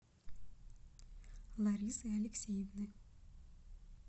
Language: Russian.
ларисы алексеевны